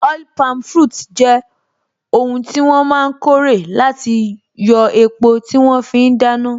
Oil palm fruits jẹ́ oun tí wọ́n máa n kórè láti yóò epo tí wọ́n fí n dáná